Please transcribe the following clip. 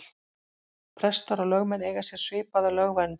Prestar og lögmenn eiga sér svipaða lögverndun.